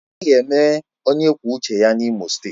Anaghị eme onye kwuo uche ya N'Imo steeti